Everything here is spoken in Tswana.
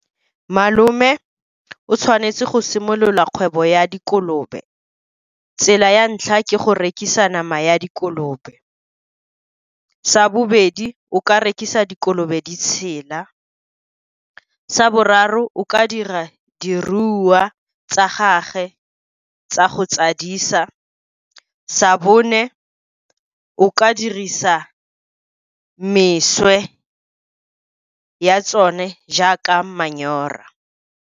Malome o tshwanetse go simolola kgwebo ya dikolobe. Tsela ya ntlha ke go rekisa nama ya dikolobe. Sa bobedi, o ka rekisa dikolobe di tshela. Sa boraro, o ka dira diruiwa tsa gagwe tsa go tsadisa. Sa bone, o ka dirisa ya tsone jaaka manyora.